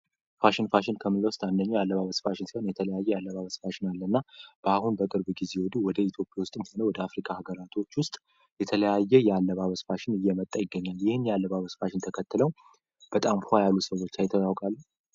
ፋሽን ፋሽን አንደኛ አለባበስ ፋሽን የተለያዩ አለባሽ አለ እና በአሁኑ በቅርብ ጊዜ ወደ ኢትዮጵያ ወደ አፍሪካ ሀገራቶች ውስጥ የተለያየ ያለባበስ ፋሽን እየመጠ ይገኛል ተከትለው በጣም ፏ ያሉ ሰዎች አይተው ያውቃሉ።